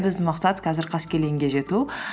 біздің мақсат қазір қаскелеңге жету